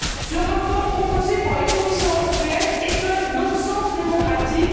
Ce rapport proposé par la Commission européenne est un non sens démocratique.